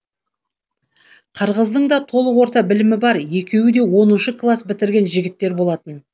қырғыздың да толық орта білімі бар екеуі де оныншы клас бітірген жігіттер болатын